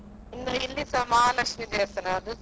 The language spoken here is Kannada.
ಹೌದೌದು.